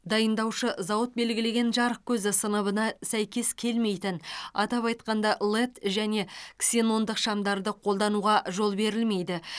дайындаушы зауыт белгілеген жарық көзі сыныбына сәйкес келмейтін атап айтқанда лед және ксенондық шамдарды қолдануға жол берілмейді